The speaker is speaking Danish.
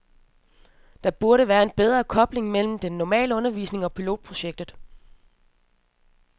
Der burde være en bedre kobling mellem den normale undervisning og pilotprojektet.